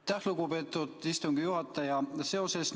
Aitäh, lugupeetud istungi juhataja!